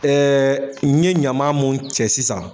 Ɛɛ n ye ɲama mun cɛ sisan